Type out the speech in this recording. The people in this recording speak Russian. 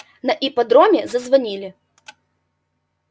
на ипподроме зазвонили